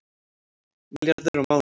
Milljarður á mánuði